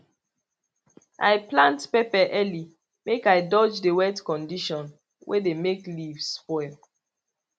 i plant pepper early make i dodge the wet condition wey dey make leaf spoil